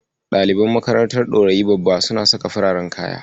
Ɗaliban makarantar Ɗorayi Babba suna saka fararen kaya.